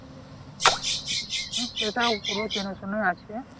হ্যা উপরই চেনা চেনা আছে